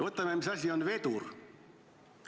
Vaatame, mis asi on vedur.